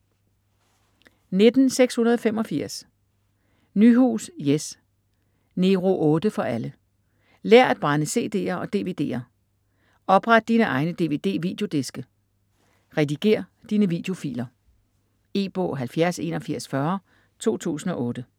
19.685 Nyhus, Jes: Nero 8 for alle Lær at brænde cd'er og dvd'er. Opret dine egne dvd-videodiske. Redigér dine videofiler. E-bog 708140 2008.